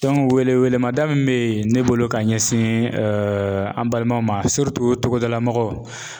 wele wele ma da mun be ne bolo ka ɲɛsin an balimaw ma togodala mɔgɔw.